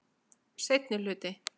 Seinni hluti.